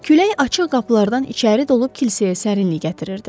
Külək açıq qapılardan içəri dolub kilsəyə sərinlik gətirirdi.